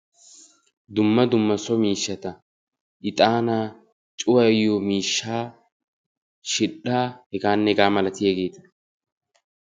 Dumma dumma so miishshaata ixaanaa cuyayiyo miishshaa shidhdhaa hegaanne hegaa malatiyageeta.